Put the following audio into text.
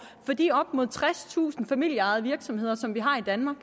for de op mod tredstusind familieejede virksomheder som vi har i danmark